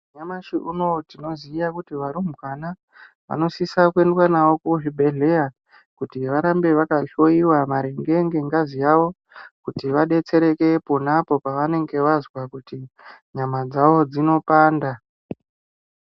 Nyamashi unou tinoziya kuti varumbwana vanosisa kuendwa navo kuzvibhedhleya kuti varambe vakahloiwa maringe ngengazi yavo kuti vadetsereke pona apo pavanenge vazwa kuti nyama dzavo dzinopanda.